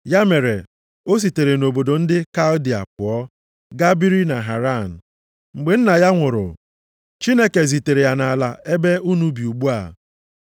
“Ya mere, o sitere nʼobodo ndị Kaldịa pụọ, gaa biri na Haran. Mgbe nna ya nwụrụ, Chineke zitere ya nʼala a ebe unu bi ugbu a.